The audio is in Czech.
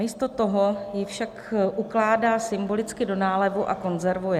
Místo toho ji však ukládá symbolicky do nálevu a konzervuje.